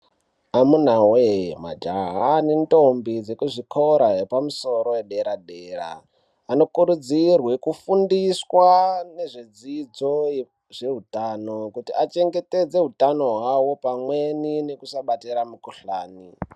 Amunaa wee, majaha nendombi, dzekuzvikora yepamusoro yedera-dera, anokurudzirwe kufundiswa, nezvedzidzo yezveutano, kuti achengetedze hutano hwawo, pamweni nekusabatira mukhuhlani.